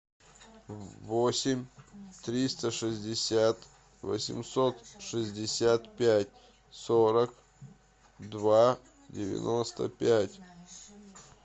восемь триста шестьдесят восемьсот шестьдесят пять сорок два девяносто пять